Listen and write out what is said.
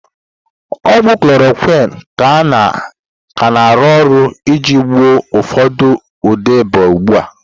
Ogwu klorokwin ka na-arụ ọrụ iji gwọọ ụfọdụ ụdị ịba ugbu a.